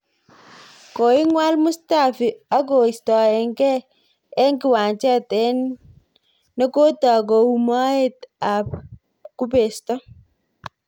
Koingwol Mustafi akoistogei eng kiwanjet eng ne kotook kou moet ab kubesto